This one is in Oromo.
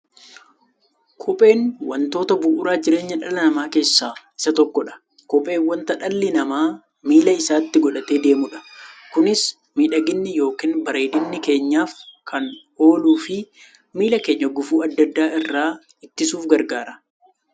Kopheen wantoota bu'uura jireenya dhala namaa keessaa isa tokkodha. Kopheen wanta dhalli namaa miilla isaatti godhatee deemudha. Kunis miidhagani yookiin bareedina keenyaf kan ooluufi miilla keenya gufuu adda addaa irraa ittisuuf gargaara.